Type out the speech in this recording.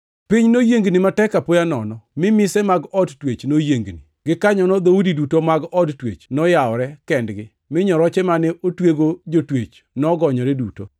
piny noyiengni matek apoya nono, mi mise mag od twech noyiengni. Gikanyono dhoudi duto mag od twech noyawore kendgi, mi nyoroche mane otwego jotwech nogonyore duto.